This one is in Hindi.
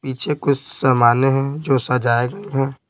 पीछे कुछ सामान्य हैं जो सजाए गए हैं।